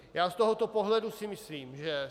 Já z tohoto pohledu si myslím, že